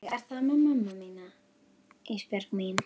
Þannig er það með hana mömmu þína Ísbjörg mín.